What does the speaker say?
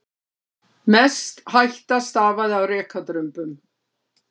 Mest hætta stafaði af rekadrumbum.